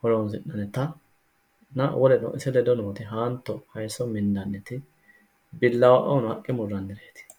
horonsi'nannitanna woleno ise ledo nooti haanto hayisso mindaniti billawaoono haqqe murrannireeti.